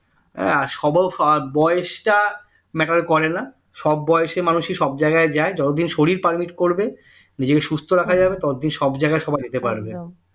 হ্যাঁ বয়সটা matter করেনা সব বয়সী মানুষ সব জায়গায় যায় যতদিন শরীর permit করবে নিজেকে সুস্থ রাখা যাবে ততদিন সব জায়গায় সবাই যেতে পারবে